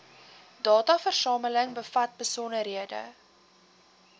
dataversameling bevat besonderhede